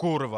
Kurva.